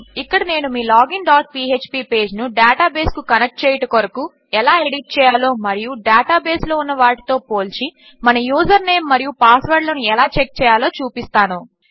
ఇక్కడ నేను మీ లాగిన్ డాట్ పీఎచ్పీ పేజ్ను డేటాబేస్కు కనెక్ట్ చేయుట కొరకు ఎలా ఎడిట్ చేయాలో మరియు డేటాబేస్లో ఉన్న వాటితో పోల్చి మన యూజర్ నేం మరియు పాస్వర్డ్లను ఎలా చెక్ చేయాలో చూపిస్తాను